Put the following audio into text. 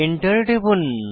Enter টিপুন